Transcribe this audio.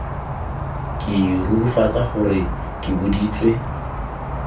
ke rurifatsa gore ke boditswe